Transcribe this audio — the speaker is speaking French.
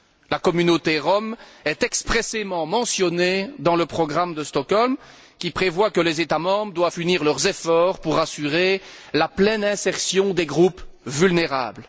La communauté rom est expressément mentionnée dans le programme de Stockholm, qui prévoit que les États membres doivent unir leurs efforts pour assurer la pleine insertion des groupes vulnérables.